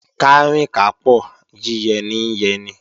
Kárìn kápò, yíyẹ ní ń yẹni